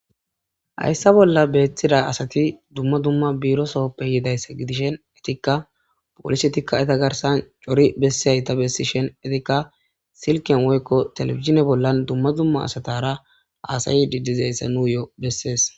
Hayssa bolla beethtida asati dumma dumma biiro sohoppe yiidayssa gidishen etikka polise tikka eta garsan cori bessihay ta bessi shen etikka silken woykko telefizine bollan dumma dumma asatara aasayi didizayssa nuuyo'o bessees.